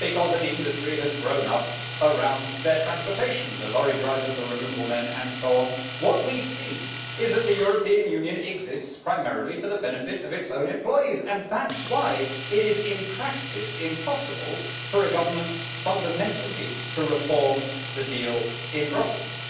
Because an industry has grown up around their transportation the lorry drivers, the removal men, and so on. What we see is that the European Union exists primarily for the benefit of its own employees, and that is why it is, in practice, impossible for a government fundamentally to reform the deal in Brussels.